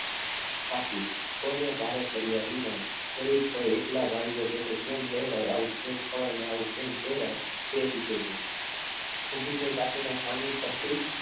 કાકી કોઈને ભારે પડ્યા વિના ખરેખર એકલા બારીએ બેઠા કેમ રહેવાય આવું કેમ ખવાય આવું કેમ પહેરાય તે સોચે છે ઊભી થાય કાકીના સામે પડતી